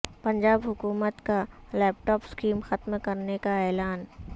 پنجاب حکومت کا laptop scheme ختم کرنے کا اعلان